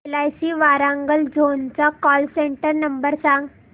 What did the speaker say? LIC Warangal zone चा call centre number सांग